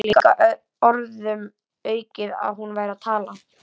Það var líka orðum aukið að hún væri að tala.